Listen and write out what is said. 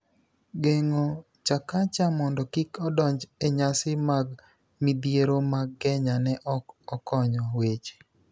geng'o Chakacha mondo kik odonj e Nyasi mag Midhiero mag Kenya ne ok okonyo weche.